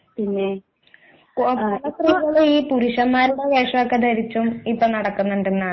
ഹ്മ് സ്ത്രീകളും ഇപ്പോൾ പുരുഷന്മാരുടെ വേഷമൊക്കെ ധരിച്ചും ഇപ്പോൾ നടക്കുന്നുണ്ടെണ്ടന്നാണ്